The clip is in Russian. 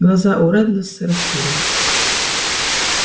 глаза у реддлас расширились